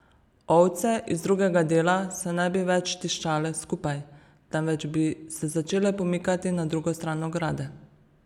Ovce iz drugega dela se ne bi več tiščale skupaj, temveč bi se začele pomikati na drugo stran ograde.